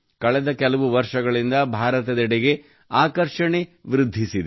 ಕಳೆದ ಕೆಲವು ವರ್ಷಗಳಿಂದ ಭಾರತದೆಡೆಗೆ ಆಕರ್ಷಣೆ ವೃದ್ಧಿಸಿದೆ